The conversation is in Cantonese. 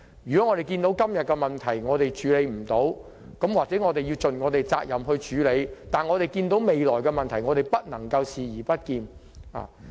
看到今天有問題而處理不到，便要盡責地設法處理，而對於未來的問題則不能視而不見。